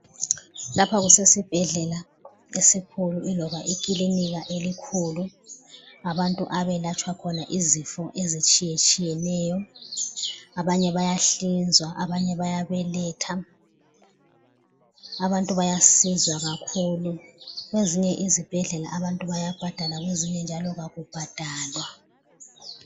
Lapha kusesibhedlela esikhulu iloba ikilinika elikhulu. Abantu abelatshwa khona izifo ezitshiyeneyo. Abanye bayahlinzwa, abanye bayabeletha. Abantu bayasizwa kakhulu. Kwezinye izibhedlela abantu bayabhadala, kwezinye njalo akubhadalwa.